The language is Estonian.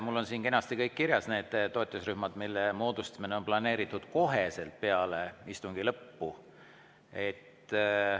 Mul on siin kenasti kirjas kõik need toetusrühmad, mille moodustamine on planeeritud kohe peale istungi lõppu.